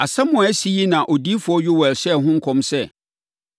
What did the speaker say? Asɛm a asi yi na odiyifoɔ Yoɛl hyɛɛ ho nkɔm sɛ: